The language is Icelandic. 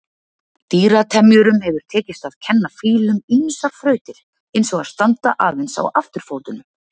Dýratemjurum hefur tekist að kenna fílum ýmsar þrautir, eins og að standa aðeins á afturfótunum.